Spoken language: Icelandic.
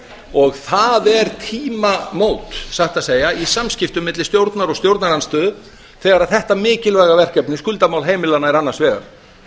og það eru tímamót satt að segja í samskiptum milli stjórnar og stjórnarandstöðu þegar þetta mikilvæga verkefni skuldamál heimilanna er annars vegar